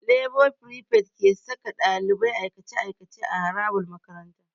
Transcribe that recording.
Lebo frifet ke saka ɗalibai aikace-aikace a harabar makaranta.